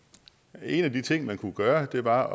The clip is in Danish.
en af de ting man kunne gøre var